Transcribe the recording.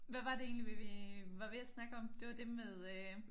Hvad var det egentlig vi vi var ved at snakke om det var det med øh